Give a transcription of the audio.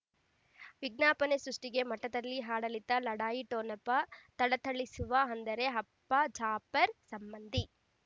ವಿಜ್ಞಾಪನೆ ಸೃಷ್ಟಿಗೆ ಮಠದಲ್ಲಿ ಆಡಳಿತ ಲಢಾಯಿ ಠೊಣಪ ಥಳಥಳಿಸುವ ಅಂದರೆ ಅಪ್ಪ ಜಾಪರ್ ಸಂಬಂಧಿ